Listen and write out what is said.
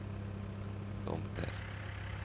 Tomter